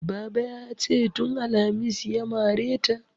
Babale ya ce "tun alhamis ya mare ta".